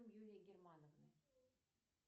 юлия германовны